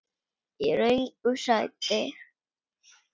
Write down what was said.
Í röngu sæti.